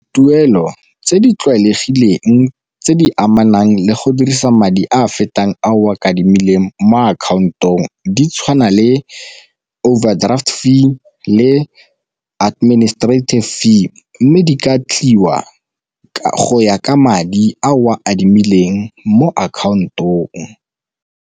Tuelo tse di tlwaelegileng tse di amanang le go dirisa madi a fetang a o a mo akhaontong di tshwana le overdraft fee le administrative fee, mme di ka tliwa go ya ka madi a o a adimileng mo akhaontong.